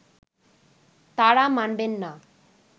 তারা মানবেন না